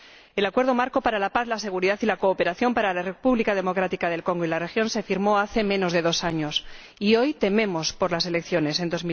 El Acuerdo Marco para la Paz, la Seguridad y la Cooperación en la República Democrática del Congo y la Región se firmó hace menos de dos años, y hoy tememos por las elecciones en